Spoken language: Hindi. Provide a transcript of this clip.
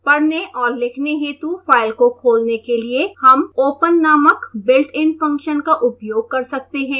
पढ़ने और लिखने हेतु फाइल को खोलने के लिए हम open नामक built in फंक्शन का उपयोग कर सकते हैं